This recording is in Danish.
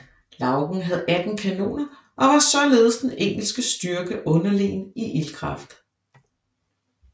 Lougen havde 18 kanoner og var således den engelske styrke underlegen i ildkraft